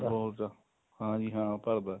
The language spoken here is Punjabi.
ਬਹੁਤ ਜਿਆਦਾ ਹਾਂ ਜੀ ਹਾਂ ਭਰਦਾ